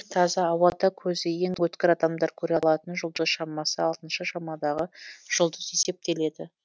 таза ауада көзі ең өткір адамдар көре алатын жұлдыз шамасы алтыншы шамадағы жұлдыз есептеледі